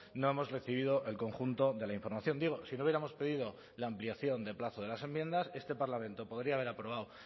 no hemos recibido el conjunto de la información digo si no hubiéramos pedido la ampliación de plazo de las enmiendas este parlamento podría haber aprobado